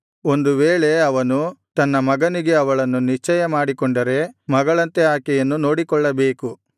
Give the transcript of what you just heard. ಒಂದು ವೇಳೆ ಅವನು ತನ್ನ ಮಗನಿಗೆ ಅವಳನ್ನು ನಿಶ್ಚಯ ಮಾಡಿಕೊಂಡರೆ ಮಗಳಂತೆ ಆಕೆಯನ್ನು ನೋಡಿಕೊಳ್ಳಬೇಕು